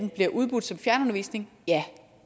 bliver udbudt som fjernundervisning ja